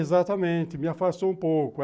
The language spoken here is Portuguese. Exatamente, me afastou um pouco.